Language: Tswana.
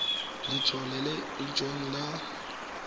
letlole la in orense la